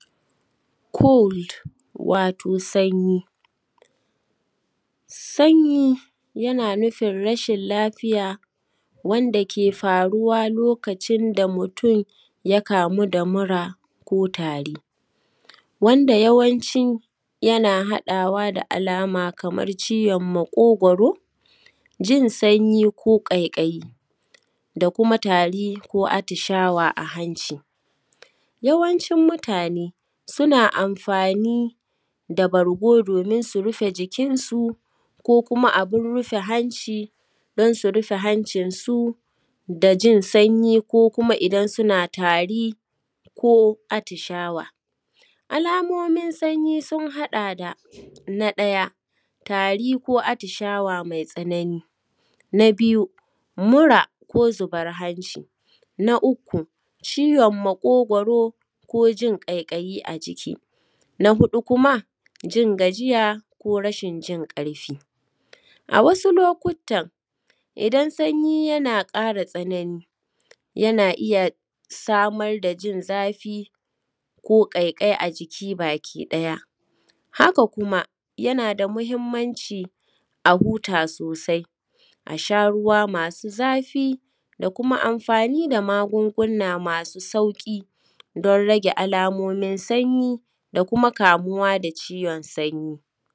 cold wato sanyi sanyi yana nufin rashin lafiya wanda ke faruwa lokacin da mutum ya kamu da mura ko tari wanda yawanci yana haɗawa da alama kamar ciwon maƙogwaro jin sanyi ko ƙaiƙayi da kuma tari ko atishawa a hanci yawancin mutane suna amfani da bargo domin su rufe jikinsu ko kuma abin rufe hanci don su rufe hancinsu da jin sanyi ko kuma idan suna tari ko atishawa alamomin sanyi sun haɗa da na ɗaya tari ko atishawa mai tsanani na biyu mura ko zubar hanci na uku ciwon maƙogwaro ko jin ƙaiƙayi a jiki na huɗu kuma jin gajiya ko rashin jin ƙarfi a wasu lokuttan idan sanyi yana ƙara tsanani yana iya samar da jin zafi ko ƙaiƙayi a jiki baki ɗaya haka kuma yana da muhimmanci a huta sosai a sha ruwa masu zafi da kuma amfani da magungunna masu sauƙi don rage alamomin sanyi da kuma kamuwa da ciwon sanyi